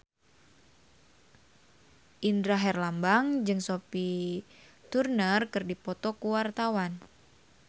Indra Herlambang jeung Sophie Turner keur dipoto ku wartawan